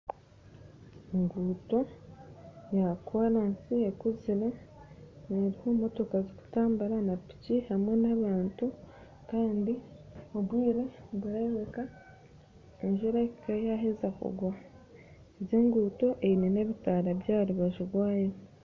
Nindeeba hariho enguuto ya koraasi ekuzire, hariho ebimotoka birikutabura na piki hamwe n'abantu kandi nikireebeka enjura ekaba yaaheeza kugwa hariho n'ebitaara by'enguuto aha rubaju rwayo